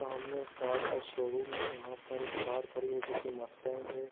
सामने एक कार का शोरूम है यहाँ पर एक कार खड़ी है जो की मस्टैंक है।